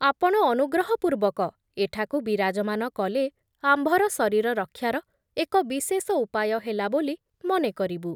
ଆପଣ ଅନୁଗ୍ରହ ପୂର୍ବକ ଏଠାକୁ ବିରାଜମାନ କଲେ ଆମ୍ଭର ଶରୀର ରକ୍ଷାର ଏକ ବିଶେଷ ଉପାୟ ହେଲା ବୋଲି ମନେ କରିବୁ ।